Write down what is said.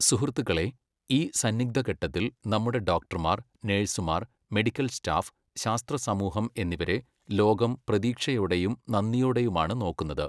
സുഹൃത്തുക്കളേ, ഈ സന്നിഗ്ധഘട്ടത്തിൽ നമ്മുടെ ഡോക്ടർമാർ , നഴ്സുമാർ , മെഡിക്കൽ സ്റ്റാഫ്, ശാസ്ത്ര സമൂഹം എന്നിവരെ ലോകം പ്രതീക്ഷയോടെയും നന്ദിയോടെയുമാണ് നോക്കുന്നത്.